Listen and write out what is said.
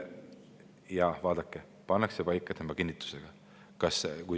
Jah, vaadake, nad pannakse paika tema kinnitusega.